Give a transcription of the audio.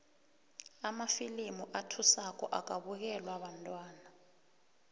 amafilimu athusako akabukelwa bantwana